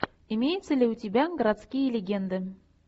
имеется ли у тебя городские легенды